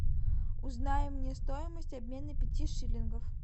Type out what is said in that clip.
узнай мне стоимость обмена пяти шиллингов